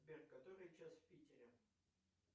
сбер который час в питере